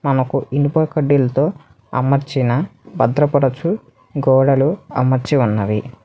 మనకు ఇనుప కడ్డిలతో అమర్చిన భద్రపడచు గోడలు అమర్చి ఉన్నవి.